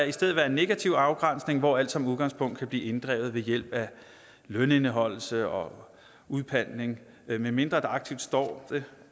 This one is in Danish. i stedet være en negativ afgrænsning hvor alt som udgangspunkt kan blive inddrevet ved hjælp af lønindeholdelse og udpantning medmindre der aktivt står